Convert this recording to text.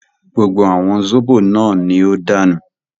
Gbogbo àwọn zóbò náà ní ó dànù